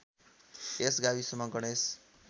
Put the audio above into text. यस गाविसमा गणेश